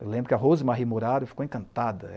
Eu lembro que a Rosemarie Murario ficou encantada.